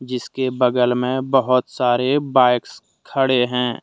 जिसके बगल में बहोत सारे बाइक्स खड़े हैं।